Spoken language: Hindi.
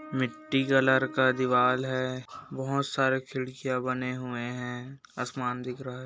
मिट्टी कलर का दीवार बहुत सारे खिड़किया बने हुए हैं आसमान दिख रहा है।